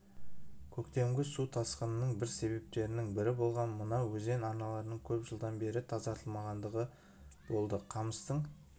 көктемгі су тасқынының бір себептерінің бірі болған мына өзен арналарының көп жылдан бері тазартылмағандығы болды қамыстың